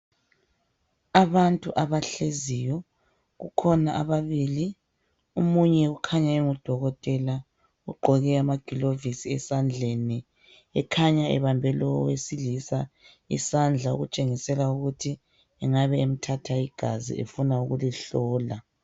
Abantu abahleziyo kukhona ababili omunye ukhanya engudokotela ugqoke amaglovisi esandleni ekhanya ebambe lo owesilisa isandla okutshengisela ukuthi engaba emthatha igazi efuna ukulihlola.